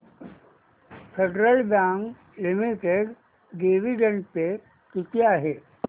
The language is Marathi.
फेडरल बँक लिमिटेड डिविडंड पे किती आहे